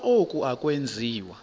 ukuba oku akwenziwa